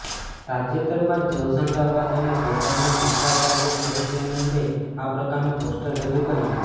તાજેતરમાં જ હોશંગાબાદ અને ભોપાલમાં શંકરાચાર્ય સ્વરૂપાનંદે આ પ્રકારનુ પોસ્ટર રજુ કર્યુ